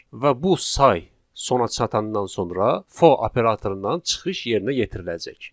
Və bu say sona çatandan sonra for operatorundan çıxış yerinə yetiriləcək.